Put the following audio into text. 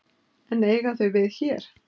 En eiga þau við hér?